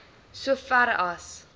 so ver as